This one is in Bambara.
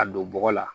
A don bɔgɔ la